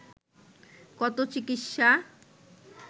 কত চিকিৎসা